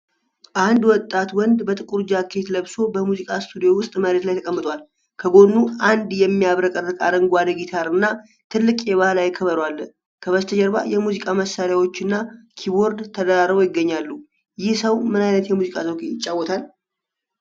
አንድ ወጣት ወንድ በጥቁር ጃኬት ለብሶ በሙዚቃ ስቱዲዮ ውስጥ መሬት ላይ ተቀምጧል። ከጎኑ አንድ የሚያብረቀርቅ አረንጓዴ ጊታር እና ትልቅ የባህላዊ ከበሮ አለ። ከበስተጀርባ የሙዚቃ መሳሪያዎችና ኪቦርድ ተደራርበው ይገኛሉ፤ ይህ ሰው ምን አይነት የሙዚቃ ዘውግ ይጫወታል?